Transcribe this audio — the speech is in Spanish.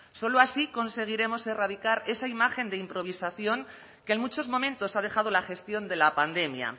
solo así conseguiremos erradicar esa imagen de improvisación que en muchos momentos ha dejado la gestión de la pandemia